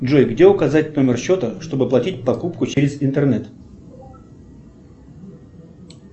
джой где указать номер счета чтобы оплатить покупку через интернет